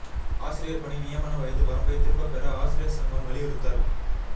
ஆசிரியா் பணி நியமன வயது வரம்பைதிரும்பப் பெற ஆசிரியா் சங்கம் வலியுறுத்தல்